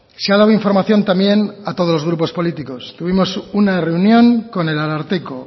se ha dado información también a todos los grupos políticos tuvimos una reunión con el ararteko